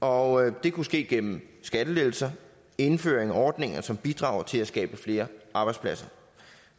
og det kunne ske gennem skattelettelser indføring af ordninger som bidrager til at skabe flere arbejdspladser